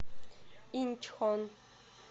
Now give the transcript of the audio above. инчхон